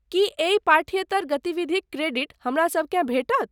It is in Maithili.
की एहि पाठ्येतर गतिविधिक क्रेडिट हमरासबकेँ भेटत?